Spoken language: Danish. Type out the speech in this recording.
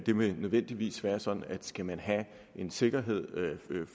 nødvendigvis være sådan at skal man have en sikkerhed